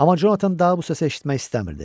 Amma Conatan daha bu səsi eşitmək istəmirdi.